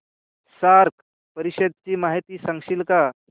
SAARC परिषदेची माहिती सांगशील का